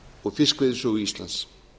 og fiskveiðisögu íslands